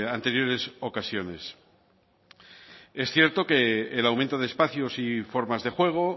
anteriores ocasiones es cierto que el aumento de espacios y formas de juego